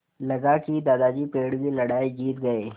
लगा कि दादाजी पेड़ की लड़ाई जीत गए